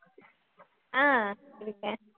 ஆஹ் இருக்கேன்